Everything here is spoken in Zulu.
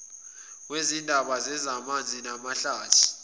wezindaba zezamanzi namahlathi